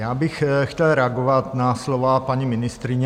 Já bych chtěl reagovat na slova paní ministryně.